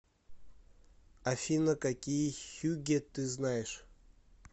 афина какие хюгге ты знаешь